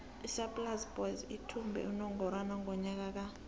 isaaiplas boys ithumbe unongorwana ngonyaka ka